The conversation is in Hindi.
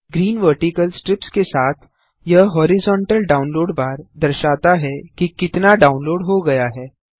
ग्रीन वर्टिकल स्ट्रिप्स के साथ यह हॉरिजोंटल डाउनलोड बार दर्शाता है कि कितना डाउनलोड हो गया है